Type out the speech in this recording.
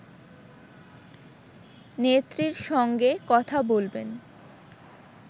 নেত্রীর সঙ্গে কথা বলবেন